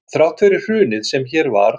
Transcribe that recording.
Þrátt fyrir hrunið sem hér varð